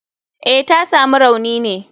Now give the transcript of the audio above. Eh, tasamu rauni ne.